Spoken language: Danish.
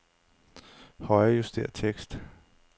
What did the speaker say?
Højrejuster tekst.